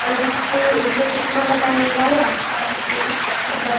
और इसके इसने चश्मा लगाया हुआ है आस-पास इसके कुछ पत्थर ब --